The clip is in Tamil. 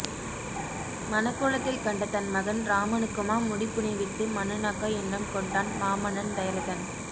மணக்கோலத்தில் கண்ட தன் மகன் இராமனுக்குமா முடி புனைவித்து மன்னனாக்க எண்ணம் கொண்டான் மாமன்னன் தயரதன்